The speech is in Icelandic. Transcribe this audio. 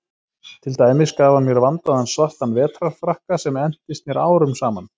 Til dæmis gaf hann mér vandaðan svartan vetrarfrakka sem entist mér árum saman.